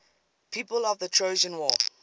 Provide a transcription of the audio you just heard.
people of the trojan war